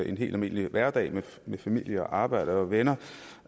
en helt almindelig hverdag med familie arbejde og venner